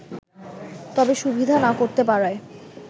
তবে সুবিধা না করতে পারায়